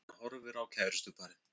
Hann horfir á kærustuparið.